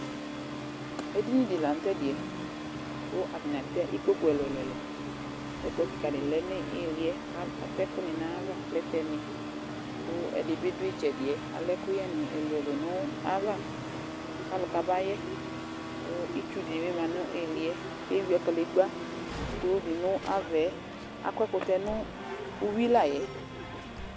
Edini dɩ la nʋ tʋ ɛdɩ yɛ kʋ atanɩ atɛ ikpoku ɛlʋ-ɛlʋ, ɛkplɔ kɩka dɩ lɛ nʋ ɩɩlɩ yɛ, atɛ ɛkʋnɩ nʋ ayava, plɛtɛnɩ kʋ ɛdɩ bɩ dʋ ɩtsɛdɩ yɛ, atɛ ɛkʋyɛnɩ nʋ ayava kʋ alʋ kabayɛ kʋ itsu dɩ bɩ ma nʋ ɩɩlɩ yɛ kʋ eyuǝ kadegbǝ kulu dɩ nʋ ava yɛ Akɔ ɛkʋtɛ yɛ nʋ uyui la yɛ